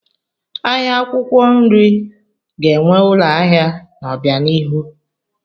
Ahịa akwụkwọ nri ga-enwe ụlọ ahịa n'obianihu.